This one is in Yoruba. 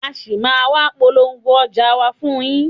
A ṣì máa ń wá polówó ọjà wa fún yín.